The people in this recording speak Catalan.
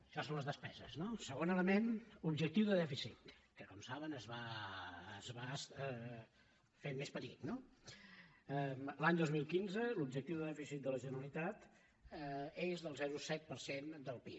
això són les despeses no segon element objectiu de dèficit que com saben es va fer més petit no l’any dos mil quinze l’objectiu de dèficit de la generalitat és del zero coma set per cent del pib